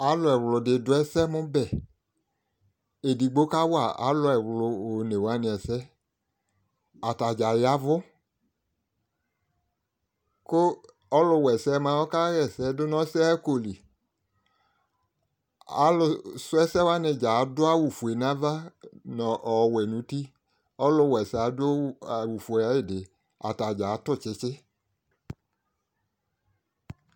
Alʋ ɛɣlʋdɩ dʋ ɛsɛmʋbɛ, edigbo ka wa alʋ ɛɣlʋ onewanɩ ɛsɛ Atadzaa yavʋkʋ ɔlʋwa ɛsɛ mʋa ɔka ɣɛsɛ dʋ nʋ ɔsɛɣako li Alʋ sʋ ɛsɛwanɩdzaa adʋ awʋ fue n'ava nʋ ɔɔ ɔwɛ n'uti Ɔlʋwa ɛsɛ yɛ adʋ awʋ fue ayɩdɩ, atadzaa atʋ tsɩtsɩ